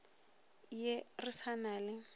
ye re sa na le